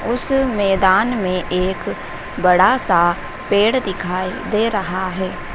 उस मैदान में एक बड़ा सा पेड़ दिखाई दे रहा हैं।